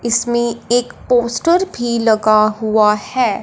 इसमें एक पोस्टर भी लगा हुआ है।